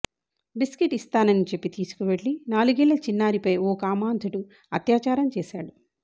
biscuit ఇస్తానని చెప్పి తీసుకెళ్లి నాలుగేళ్ల చిన్నారిపై ఓ కామాంధుడు అత్యాచారం చేశాడు